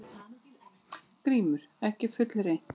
GRÍMUR: Ekki fullreynt.